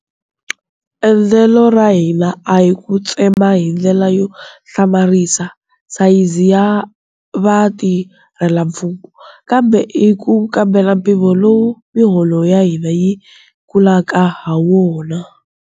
Endlelo ra hina a hi ku tsema hindlela yo hlamarisa sayizi ya vatirhelamfumo, kambe i ku kambela mpimo lowu miholo ya hina yi kulaka hawona.